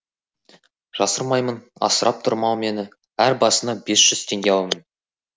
жасырмаймын асырап тұр мал мені әр басына бес жүз теңге аламын